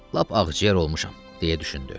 Lap ağciyər olmuşam, deyə düşündü.